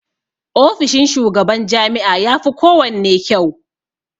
Ofishin shugaban jami'a yafi kowanne kyau.